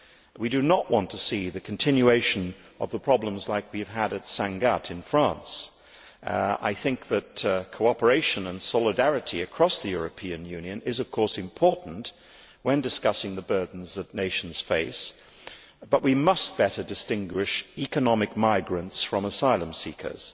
We do not want to see the continuation of problems like those we have had at Sangatte in France. I think that cooperation and solidarity across the European Union is, of course, important when discussing the burdens that nations face but we must better distinguish economic migrants from asylum seekers.